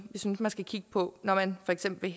synes man skulle kigge på når man for eksempel